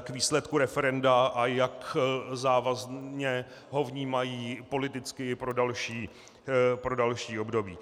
k výsledku referenda, a jak závazně ho vnímají politicky i pro další období.